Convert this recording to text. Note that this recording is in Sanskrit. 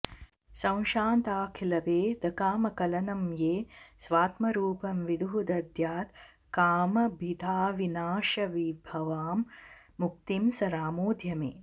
संशान्ताखिलभेदकामकलनं ये स्वात्मरूपं विदुः दद्यात् कामभिदाविनाशविभवां मुक्तिं स रामोऽद्य मे